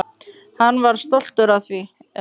Hann var stoltur af þeim.